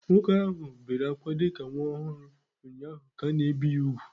Nwoke ahụ bere ákwá dị ka nwa ọhụrụ ụnyaahụ ka a na-ebi ya úgwù